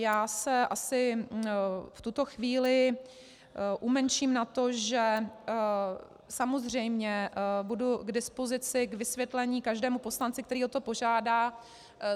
Já se asi v tuto chvíli umenším na to, že samozřejmě budu k dispozici k vysvětlení každému poslanci, který o to požádá.